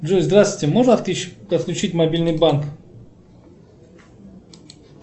джой здравствуйте можно отключить мобильный банк